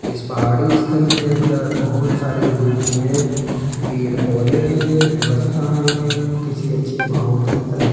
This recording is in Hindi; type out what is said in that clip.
इस पहाड़ी स्थल के अंदर बहोत सारे लोग हैं पेड़ पौधे हैं व्यवस्था है किसी अच्छे माहौल की तस --